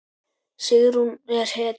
Sigrún er hetja!